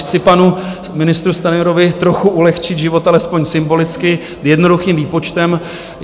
Chci panu ministru Stanjurovi trochu ulehčit život alespoň symbolicky jednoduchým výpočtem.